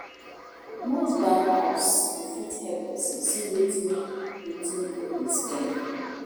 Most bank apps dey fit help person see wetin wetin im dey spend